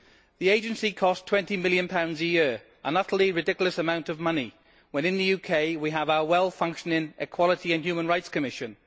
The Agency costs GBP 20 million a year, an utterly ridiculous amount of money when in the UK we have our well functioning Equality and Human Rights Commission.